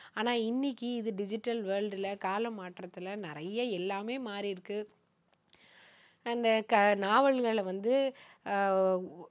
ஆனா, இன்னைக்கு இது digital world ல, காலம் மாற்றத்துல, நிறைய எல்லாமே மாறி இருக்கு. அங்க நாவல்களை வந்து ஆஹ்